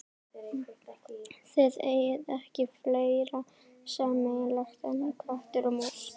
Þið eigið ekki fleira sameiginlegt en köttur og mús.